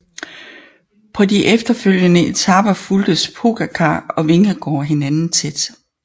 På de efterfølgende etaper fulgtes Pogačar og Vingegaard hinanden tæt